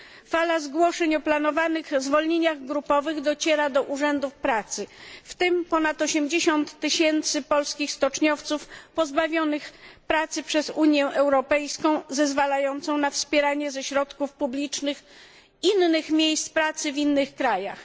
Fala zgłoszeń o planowanych zwolnieniach grupowych dociera do urzędów pracy, w tym ponad 80 tysięcy polskich stoczniowców, pozbawionych pracy przez Unię Europejską, zezwalającą na wspieranie ze środków publicznych innych miejsc pracy w innych krajach.